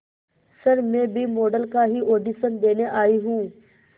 sir मैं भी model का ही ऑडिशन देने आई हूं